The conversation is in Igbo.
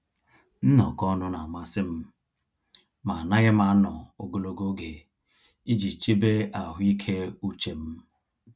Nnọkọ ọnụ n'amasị m, ma anaghị m anọ ogologo oge iji chebe ahụike uche m.